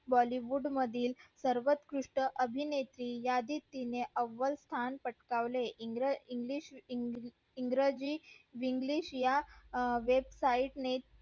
bollywood मधील सर्वत्कृष्ट अभिनेत्री यादीत तिनी अवलं स्थान पटकवले इंग्र इंग्लिश इंग्रजी english या web site ने